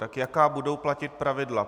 Tak jaká budou platit pravidla?